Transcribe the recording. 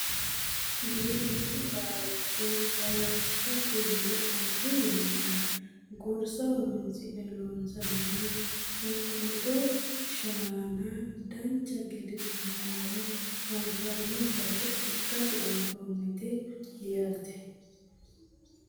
Giwirinnu laalcho halashshate yine arri yannara gorsa horonsi'ne loonsoonniha qunqumado shaana dancha gede biifinoha anfanni base ikkase anfannite yaate .